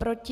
Proti?